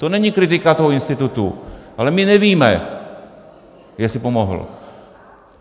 To není kritika toho institutu, ale my nevíme, jestli pomohl.